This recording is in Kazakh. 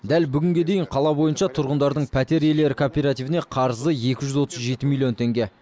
дәл бүгінге дейін қала бойынша тұрғындардың пәтер иелер кооперативіне қарызы екі жүз отыз жеті милллион теңге